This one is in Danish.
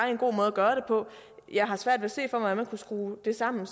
jeg har svært ved at se hvordan man kan skrue det sammen